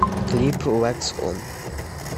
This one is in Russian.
клип вакс он